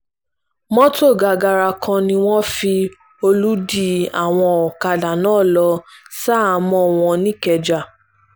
mọ́tò gàgàrà kan ni wọ́n fi ń olùdí àwọn ọ̀kadà náà lọ ṣaháàmọ̀ wọn nìkẹ́jà